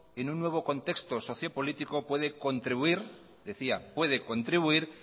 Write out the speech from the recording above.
en un nuevo contexto socio político puede contribuir decía